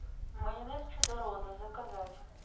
майонез чудо роза заказать